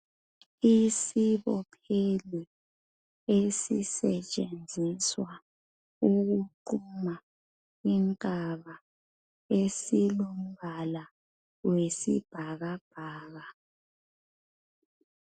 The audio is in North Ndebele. Isibopheli esisetshenziswa ukuqhuma inkaba esilombala oyisibhakabhaka .